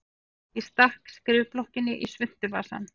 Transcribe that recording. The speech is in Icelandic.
Og stakk skrifblokkinni í svuntuvasann.